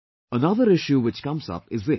Another issue which comes up is this